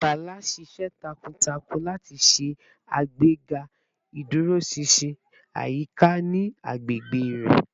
Bala ṣiṣẹ takuntakun lati ṣe agbega iduroṣinṣin ayika ni agbegbe rẹ